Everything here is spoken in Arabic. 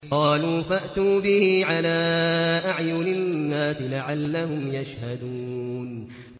قَالُوا فَأْتُوا بِهِ عَلَىٰ أَعْيُنِ النَّاسِ لَعَلَّهُمْ يَشْهَدُونَ